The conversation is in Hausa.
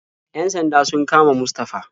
Yan sanda sun kama Mustafa.